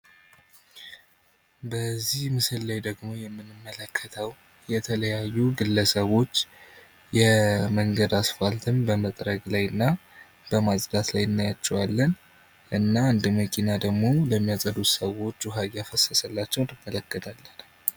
በዚህ ምስል ላይ ደግሞ የምንመለከተው የተለያዩ ግለሰቦች የመንገድ አስፋልትን በመጥረግ ላይ እና በማጽዳት ላይ እናያቸዋለን። እና አንድ መኪና ደግሞ ለሚያጸዱት ሰዎች ውሃ እያፈሰሰላቸው እናያለን።